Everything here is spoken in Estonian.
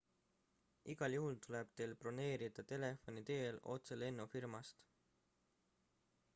igal juhul tuleb teil broneerida telefoni teel otse lennufirmast